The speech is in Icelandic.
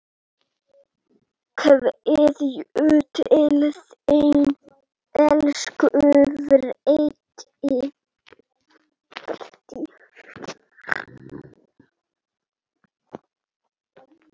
Kveðja til þín, elsku Freddi.